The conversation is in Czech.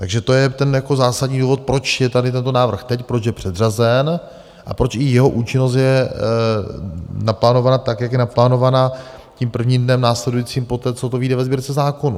Takže to je ten zásadní důvod, proč je tady tento návrh teď, proč je předřazen a proč i jeho účinnost je naplánovaná tak, jak je naplánovaná tím prvním dnem následujícím poté, co to vyjde ve Sbírce zákonů.